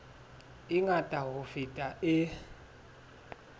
e ngata ho feta e